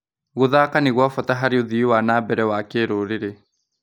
Gũthaka nĩ gwa bata harĩ ũthii wa na mbere wa kĩrũrĩrĩ.